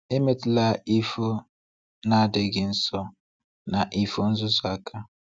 Ma emetụla ifo na-adịghị nsọ na ifo nzuzu aka.